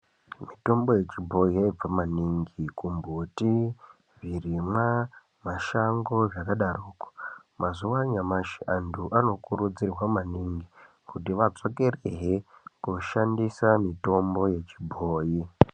Mitombo yechibhoyi yaibva maningi kumbuthi, zvirimwa , mashango zvakadarokwo. Mazuwa anyamashi antu anokurudzirwa maningi kuti adzokerehe kooshandisa mitombo yechibhoyi.